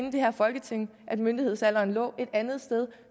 i det her folketing fandt af at myndighedsalderen lå et andet sted